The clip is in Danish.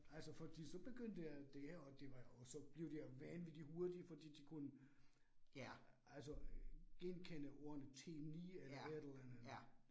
Altså fordi så begyndte, alt det her, og det var og så blev de vanvittig hurtige fordi de kunne, altså genkende ordene T9 eller et eller andet andet